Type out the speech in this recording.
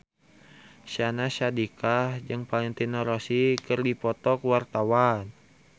Syahnaz Sadiqah jeung Valentino Rossi keur dipoto ku wartawan